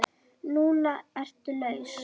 Núna ertu laus.